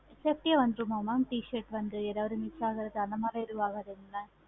t-shirt வந்து எதாவது miss ஆகுறது அந்த மாதிரி எது ஆகாதுங்களா?